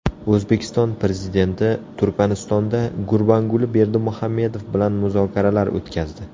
O‘zbekiston Prezidenti Turkmanistonda Gurbanguli Berdimuhamedov bilan muzokaralar o‘tkazdi.